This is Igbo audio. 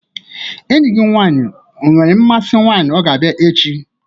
Enyi nwaanyị gị nwere mmasị nwaanyị ọ ga-abịa echi?